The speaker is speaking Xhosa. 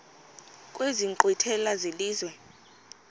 kwezi nkqwithela zelizwe